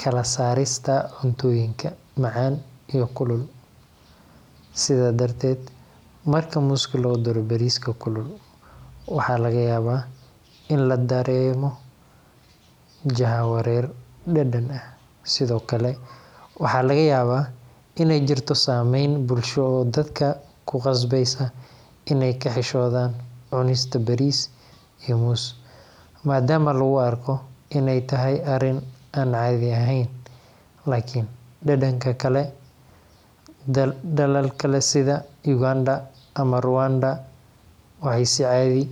kala saarista cuntooyinka macan iyo kulul, sida darteed marka mooska lagu daro bariiska kulul waxaa laga yaaba inuu dareemo jah wareer dadan ah, sido kale waxaa laga yaaba in aay jirto sameen bulsho oo dadka ku qasbeysa inaay ka xishoodan cunista bariis, dalka kale waxeey si caadi.